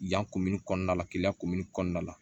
Yan komini kɔnɔna la keleya kumin kɔnɔna la